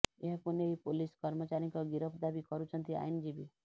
ଏହାକୁ ନେଇ ପୋଲିସ କର୍ମଚାରୀଙ୍କ ଗିରଫ ଦାବି କରୁଛନ୍ତି ଆଇନଜୀବୀ